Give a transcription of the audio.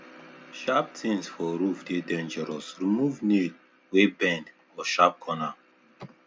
sharp things for roof dey dangerous remove nail wey bend or sharp corner